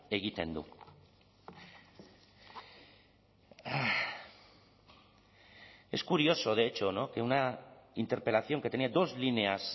egiten du es curioso de hecho que una interpelación que tenía dos líneas